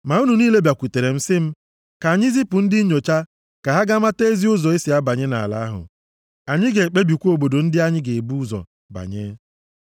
Ma unu niile bịakwutere m sị m, “Ka anyị zipụ ndị nnyocha ka ha gaa mata ezi ụzọ e si abanye nʼala ahụ. Anyị ga-ekpebikwa obodo ndị anyị ga-ebu ụzọ banye.”